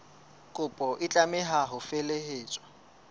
kopo e tlameha ho felehetswa